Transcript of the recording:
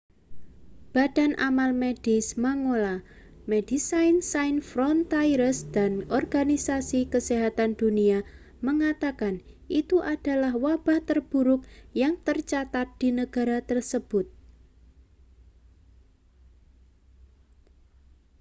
badan amal medis mangola medecins sans frontieres dan organisasi kesehatan dunia mengatakan itu adalah wabah terburuk yang tercatat di negara tersebut